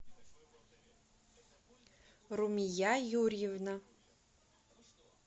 румия юрьевна